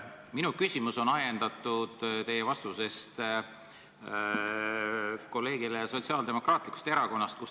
Minu küsimus on ajendatud teie vastusest meie kolleegile Sotsiaaldemokraatlikust Erakonnast.